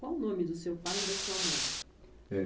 Qual o nome do seu pai e da sua mãe? Eh,